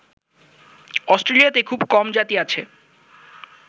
অস্ট্রেলিয়াতে খুব কম জাতি আছে